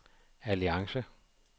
alliance